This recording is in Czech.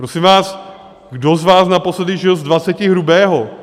Prosím vás, kdo z vás naposledy žil z dvaceti hrubého?